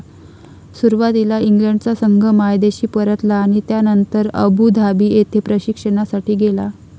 सुरवातीला इंग्लंडचा संघ मायदेशी परतला आणि त्यानंतर अबू धाबी येथे प्रशिक्षणासाठी गेला.